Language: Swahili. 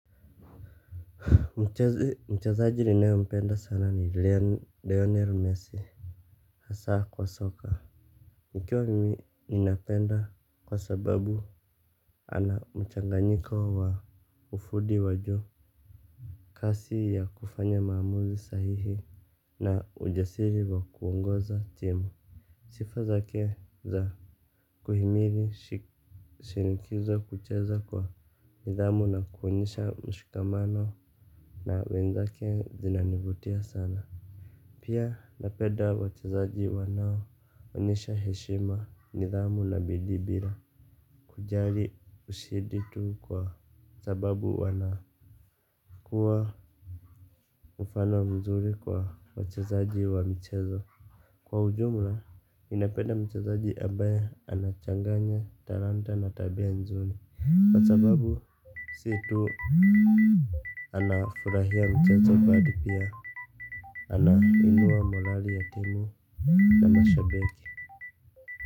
Mchezaji ninaye mpenda sana ni Lionel Messi hasa kwa soka nikiwa mimi ninapenda kwa sababu ana mchanganyiko wa ufundi wa juu. Kasi ya kufanya maamuzi sahihi na ujasiri wa kuongoza timu sifa zake za kuhimili shinikizo kucheza kwa nidhamu na kuonyesha mshikamano na wenzake zinanivutia sana. Pia napenda wachezaji wanao onyesha heshima nidhamu na bidii bila. Kujali ushindi tu kwa sababu wanakuwa mfano mzuri kwa wachezaji wa mchezo. Kwa ujumla, ninapeda mchezaji ambaye anachanganya talanta na tabia nzuri. Kwa sababu si tu anafurahia mchezo bali pia anainua morali ya timu na mashabiki.